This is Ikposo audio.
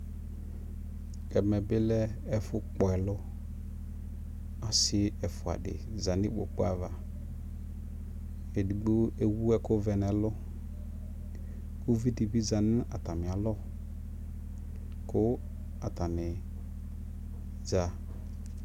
ɛmɛ bi lɛ ɛƒʋ kpɔ ɛlʋ, ɔsii ɛƒʋa di zanʋ ikpɔkʋ aɣa, ɛdigbɔ ɛwʋ ɛkʋ vɛ nʋ ɛlʋ kʋ ʋvi dibi zanʋ atami alɔ kʋ atani za